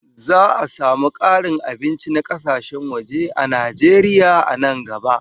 Za a samu ƙarin abinci na kasashen waje a Najeriya nan gaba